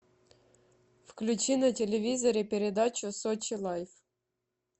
включи на телевизоре передачу сочи лайф